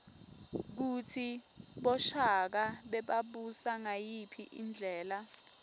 kutsi boshaka bebabusa ngayiphi indlela